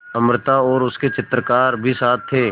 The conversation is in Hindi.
अमृता और उसके चित्रकार भी साथ थे